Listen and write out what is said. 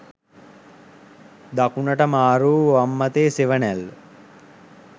දකුණට මාරුවූ වම් අතේ සෙවණැල්ල